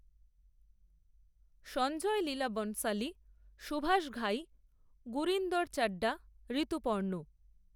Sanjay Leela Bhansali, Subhash Ghai, Gurinder Chadha, Rituparno